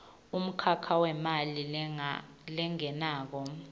umkhakha wemali lengenako